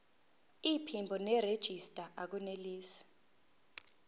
iphimbo nerejista akunelisi